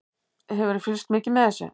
Hefurðu fylgst mikið með þessu?